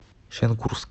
шенкурск